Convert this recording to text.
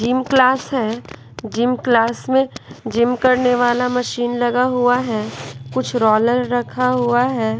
Gym class है gym class में gym करने वाला मशीन लगा हुआ है कुछ रोलर रखा हुआ है।